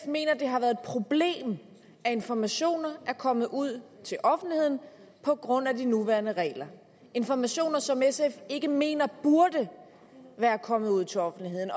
mener det har været et problem at informationer er kommet ud til offentligheden på grund af de nuværende regler informationer som sf ikke mener burde være kommet ud til offentligheden